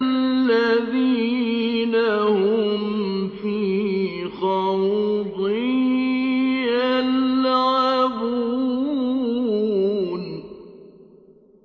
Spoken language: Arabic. الَّذِينَ هُمْ فِي خَوْضٍ يَلْعَبُونَ